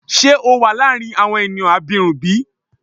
Ṣe o wa laarin awọn eniyan abirun bi?